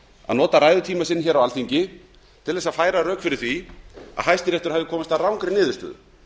að nota ræðutíma sinn á alþingi til að færa rök fyrir því að hæstiréttur hefði komist að rangri niðurstöðu